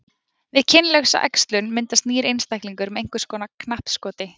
Við kynlausa æxlun myndast nýr einstaklingur með einhvers konar knappskoti.